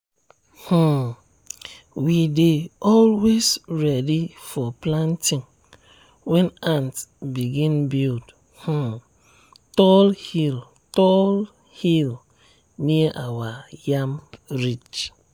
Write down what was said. um we dey always ready for planting when ants begin build um tall hill tall hill near our yam ridge.